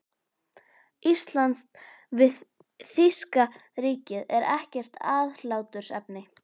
Íslands við þýska ríkið, er ekkert aðhlátursefni.